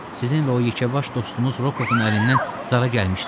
Sizin və o yekəbaş dostunuz Rokovun əlindən zara gəlmişdik.